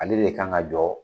Ale de kan ka jɔ